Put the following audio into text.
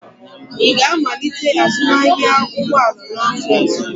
Ị ga-amalite azụmahịa ụgbọ ala n'afọ ọzọ?